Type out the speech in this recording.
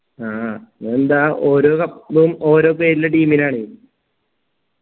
ആ എന്താ ഓരോ cup ഉം ഓരോ പേരിലുള്ള team നാണ്